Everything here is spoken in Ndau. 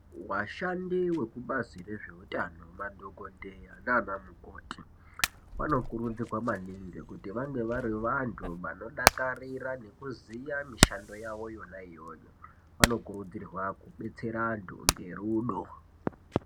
Vashandi vekubazi rezveutano madhokodheya nana mukoti vanokurudzirwa maningi kuti vange vari vantu vanodakarira nekuziya mishando yavo yona iyoyo vanokurudzirwa kudetsera vantu ngerudo.